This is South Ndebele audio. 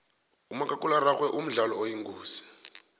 umakhakhulararhwe mdlalo oyingozi